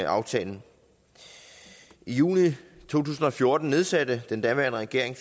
aftalen i juni to tusind og fjorten nedsatte den daværende regering